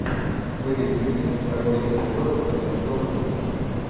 выведи мне второй эпизод как я стал русским